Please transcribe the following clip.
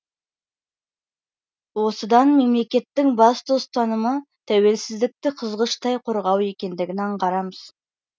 осыдан мемлекеттің басты ұстанымы тәуелсіздікті қызғыштай қорғау екендігін аңғарамыз